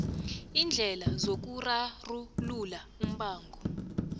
iindlela zokurarulula umbango